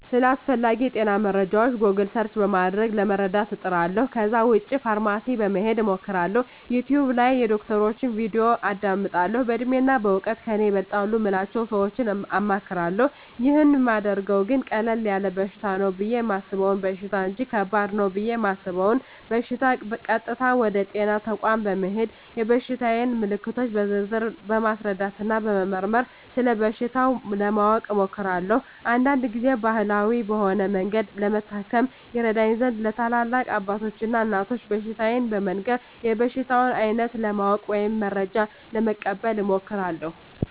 ስለ አስፈላጌ የጤና መረጃወች "ጎግል" ሰርች" በማድረግ ለመረዳት እጥራለሁ ከዛ ውጭ ፋርማሲ በመሄድ አማክራለሁ፣ "ዩቲውብ" ላይ የዶክተሮችን "ቪዲዮ" አዳምጣለሁ፣ በእድሜና በእውቀት ከኔ ይበልጣሉ ምላቸውን ሰወች አማክራለሁ። ይህን ማደርገው ግን ቀለል ያለ በሽታ ነው ብየ የማሰበውን በሽታ እንጅ ከባድ ነው ብየ እማስበውን በሸታ ቀጥታ ወደ ጤና ተቋም በመሄድ የበሽታየን ምልክቶች በዝርዝር በማስረዳትና በመመርመር ስለበሽታው ለማወቅ እሞክራለሁ። አንዳንድ ግዜም ባህላዊ በሆነ መንገድ ለመታከም ይረዳኝ ዘንድ ለትላልቅ አባቶች እና እናቶች በሽታየን በመንገር የበሽታውን አይነት ለማወቅ ወይም መረጃ ለመቀበል እሞክራለሁ።